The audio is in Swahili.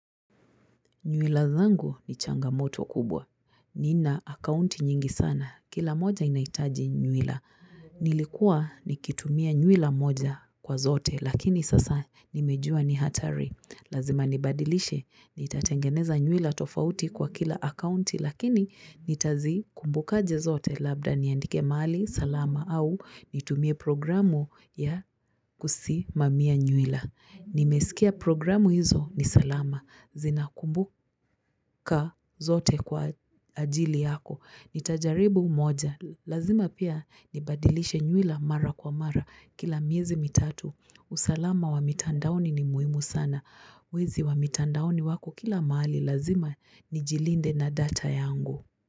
Nywila zangu ni changamoto kubwa. Nina akaunti nyingi sana. Kila moja inahitaji nywila. Nilikuwa nikitumia nywila moja kwa zote lakini sasa nimejua ni hatari. Lazima nibadilishe. Nitatengeneza nywila tofauti kwa kila akaunti lakini nitazi kumbukaje zote labda niandike mahali salama au nitumie programu ya kusimamia nywila. Nimesikia programu hizo ni salama, zinakumbuka zote kwa ajili yako, ni tajaribu moja Lazima pia nibadilishe nywila mara kwa mara kila miezi mitatu usalama wa mitandaoni ni muhimu sana, wezi wa mitandaoni wako kila mahali lazima ni jilinde na data yangu.